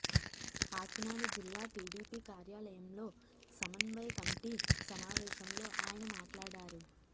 కాకినాడ జిల్లా టీడీపీ కార్యాలయంలో సమన్వయ కమిటీ సమావేశంలో ఆయన మాట్లాడారు